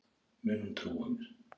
Mun hún trúa mér?